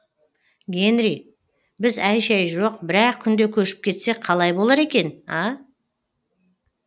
генри біз әй шәй жоқ бір ақ күнде көшіп кетсек қалай болар екен а